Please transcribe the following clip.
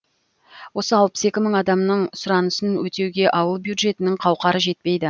осы алпыс екі мың адамның сұранысын өтеуге ауыл бюджетінің қауқары жетпейді